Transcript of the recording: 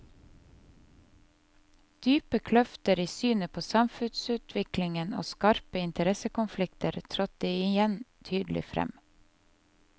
Dype kløfter i synet på samfunnsutviklingen og skarpe interessekonflikter trådte igjen tydelig frem.